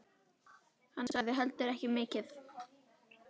Hann sagði heldur ekki mikið.